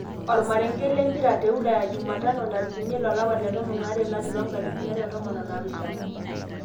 Omarenke lempira te Ulaya jumatano 06.12.2017